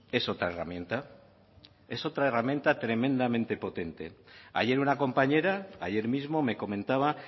es otra herramienta es otra herramienta tremendamente potente ayer una compañera ayer mismo me comentaba